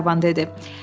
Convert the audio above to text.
Qlenarvan dedi.